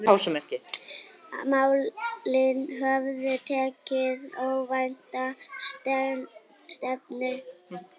Málin höfðu tekið óvænta stefnu.